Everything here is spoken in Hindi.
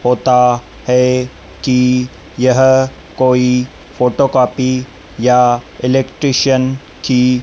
होता है कि यह कोई फोटोकॉपी या इलेक्ट्रिशियन की--